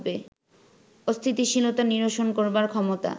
অস্থিতিশীলতা নিরসন করবার ক্ষমতা